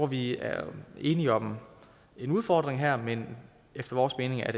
vi er enige om en udfordring her men efter vores mening er